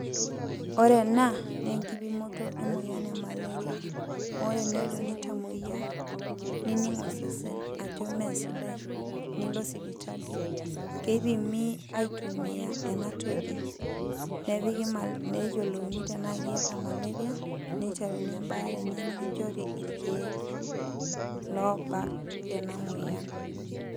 Ore ena, naa enkipimoto emoyian emaleria. Ore enelo nitamoyia, nining' osesen ajo mesidai, nilo sipitali. Keipimi aitumia enatoki. Neyiolouni tenaa iyata maleria, niteruni ebaare enye nikinchori irkeek loobak ena moyian.